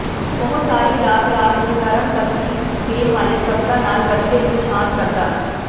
ਉਹ ਸਾਰੀ ਰਾਤ ਰਾਤ ਨੂੰ ਨਰਮ ਤਸੱਲੀ ਦੇਣ ਵਾਲੇ ਸ਼ਬਦਾਂ ਨਾਲ ਬੱਚੇ ਨੂੰ ਸ਼ਾਂਤ ਕਰਦਾ